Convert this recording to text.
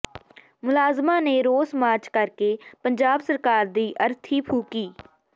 ਮੁਲਾਜ਼ਮਾਂ ਨੇ ਰੋਸ ਮਾਰਚ ਕਰਕੇ ਪੰਜਾਬ ਸਰਕਾਰ ਦੀ ਅਰਥੀ ਫੂਕੀ